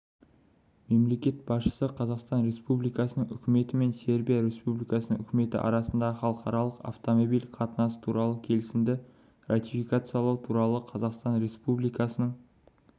мемлекет басшысы қазақстан республикасының үкіметі мен сербия республикасының үкіметі арасындағы халықаралық автомобиль қатынасы туралы келісімді ратификациялау туралы қазақстан республикасының